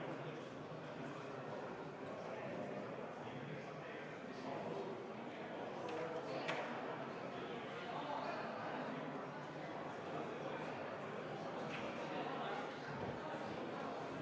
Palun võtta seisukoht ja hääletada!